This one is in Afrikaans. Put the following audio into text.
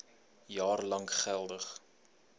jaar lank geldig